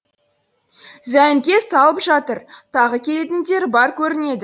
зәйімке салып жатыр тағы келетіндері бар көрінеді